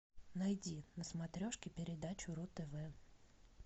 найди на смотрежке передачу ру тв